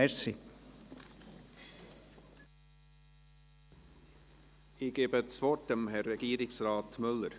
Ich gebe das Wort Herrn Regierungsrat Müller.